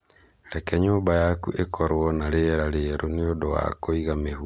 Reke nyũmba yaku ĩkorũo na rĩera rĩerũ nĩ ũndũ wa kũiga mĩhuha ĩrĩ na ũgima.